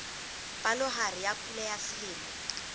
palohare ya pula ya selemo